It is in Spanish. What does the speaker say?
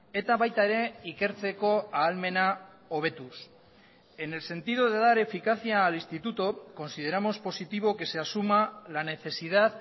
eta baita ere ikertzeko ahalmena hobetuz en el sentido de dar eficacia al instituto consideramos positivo que se asuma la necesidad